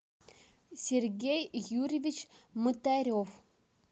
сергей юрьевич мытарев